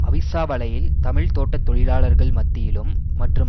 அவிஸ்ஸாவலையில் தமிழ் தோட்ட தொழிலாளர்கள் மத்தியிலும் மற்றும்